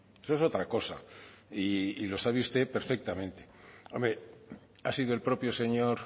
eso es otra cosa y lo sabe usted perfectamente hombre ha sido el propio señor